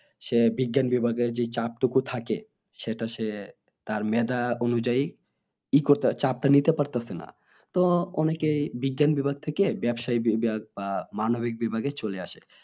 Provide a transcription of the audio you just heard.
সে বিজ্ঞান বিভাগের যে চাপ টুকু থাকে সেটা সে তার মেধা অনুযায়ী ই করতে চাপটা নিতে পারতাছে না তো অনেকে বিজ্ঞান থেকে ব্যবসাইক বিভাগ বা মানবিক বিভাগে চলে আসে